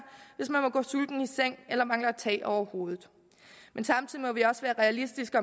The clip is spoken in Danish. hvis man må gå sulten i seng eller mangler tag over hovedet men samtidig må vi også være realistiske